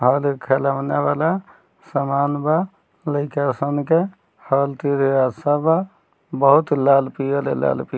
हल हे खेलौना वाला सामान बा लईका सन के बा बहुत लाल-पियल हे लाल पि --